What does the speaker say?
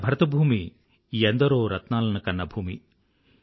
మన భరతభూమి ఎందరో రత్నాలను కన్న భూమి